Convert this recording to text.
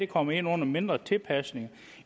kommer ind under mindre tilpasninger